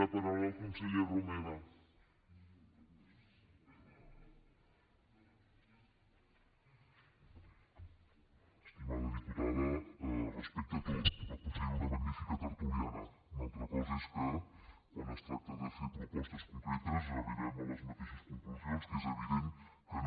estimada diputada respecte tot la considero una magnífica tertuliana una altra cosa és que quan es tracta de fer propostes concretes arribem a les mateixes conclusions que és evident que no